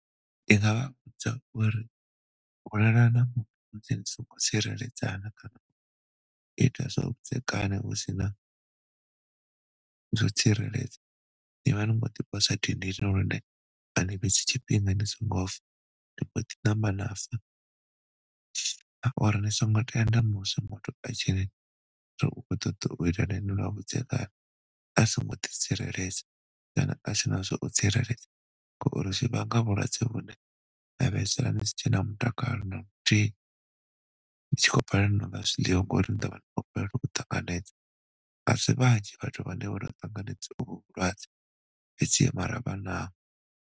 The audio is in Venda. Ndi nga vha vhudza uri u lalana u tsireledzana kha u ita zwa vhudzekani usina zwo tsireledza. Nivha ni kho ḓi posa dindini lune ani fhedzi tshifhinga ni si ngo fa, ni mbo ḓi namba na fa, so ngo tenda musi muthu a tshiri ukho ṱoḓa u ita na ini lwa vhudzekani a si ngo ḓi tsireledza kana asina zwa u tsireledza ngori zwivhanga vhulwadze vhune na fhedzisela ni si tshena mutakalo naluthihi, ni tshi kho balelwa na nga zwiḽiwa ngori ni ḓovha ni kho balelwa u ṱanganedza, asi vhanzhi vhathu vhane vhono ṱanganedza uvhu vhulwadze fhedzi mara vhanaho.